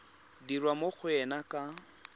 dirwa mo go ena ka